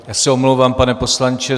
Já se omlouvám, pane poslanče.